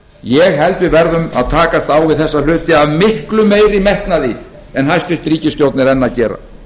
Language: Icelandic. ég held að við verðum að takast á við þessa hluti af miklu meiri metnaði en hæstvirt ríkisstjórn er enn að gera